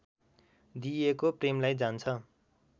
दिइएको प्रेमलाई जान्छ